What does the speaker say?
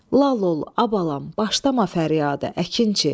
Lal ol, əbalam, başlama fəryada, əkinçi.